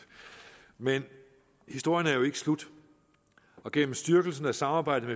men historien er jo ikke slut og gennem styrkelsen af samarbejdet